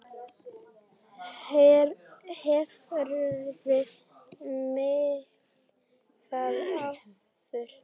Hefurðu gert það áður?